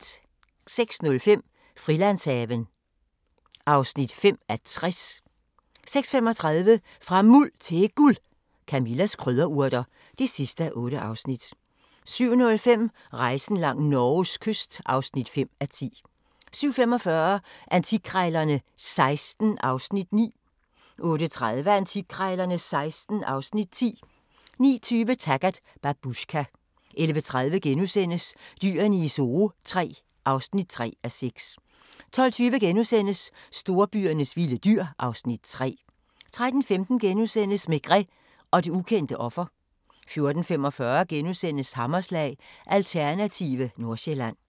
06:05: Frilandshaven (5:60) 06:35: Fra Muld til Guld – Camillas krydderurter (8:8) 07:05: Rejsen langs Norges kyst (5:10) 07:45: Antikkrejlerne XVI (Afs. 9) 08:30: Antikkrejlerne XVI (Afs. 10) 09:20: Taggart: Babushka 11:30: Dyrene i Zoo III (3:6)* 12:20: Storbyernes vilde dyr (Afs. 3)* 13:15: Maigret og det ukendte offer * 14:45: Hammerslag – Alternative Nordsjælland *